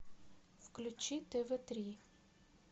включи тв три